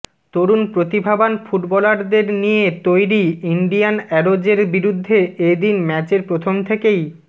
তরুণ প্রতিভাবান ফুটবলারদের নিয়ে তৈরি ইন্ডিয়ান অ্যারোজের বিরুদ্ধে এ দিন ম্যাচের প্রথম থেকেই